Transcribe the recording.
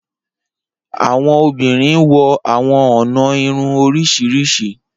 Awọn obinrin wọ awọn ọna irun oriṣiriṣi.